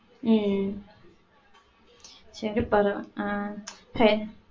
உம் செரி பரவா~ அஹ் செரி.